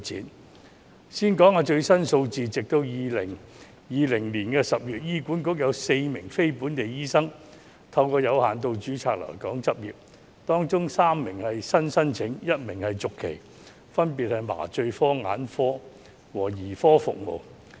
我先說說最新的數字，截至2020年10月，醫院管理局有4名非本地醫生透過有限度註冊來港執業，當中3名是新的申請 ，1 名是續期，分別是麻醉科、眼科和兒科服務醫生。